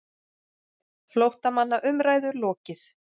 FLÓTTAMANNA UMRÆÐU LOKIÐ